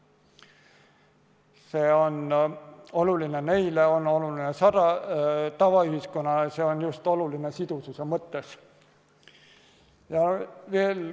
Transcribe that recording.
See on oluline neile, on oluline tavaühiskonnale, see on oluline just sidususe mõttes.